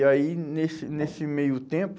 E aí, nesse nesse meio tempo,